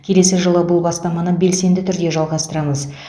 келесі жылы бұл бастаманы белсенді түрде жалғастырамыз